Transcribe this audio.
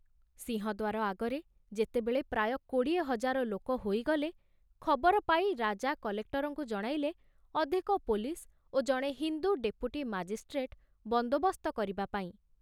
ସିଂହଦ୍ଵାର ଆଗରେ ଯେତେବେଳେ ପ୍ରାୟ କୋଡ଼ିଏ ହଜାର ଲୋକ ହୋଇଗଲେ, ଖବର ପାଇ ରାଜା କଲେକ୍ଟରଙ୍କୁ ଜଣାଇଲେ ଅଧିକ ପୋଲିସ ଓ ଜଣେ ହିନ୍ଦୁ ଡେପୁଟି ମାଜିଷ୍ଟ୍ରେଟ ବନ୍ଦୋବସ୍ତ କରିବା ପାଇଁ।